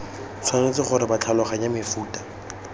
tshwanetse gore ba tlhaloganye mofuta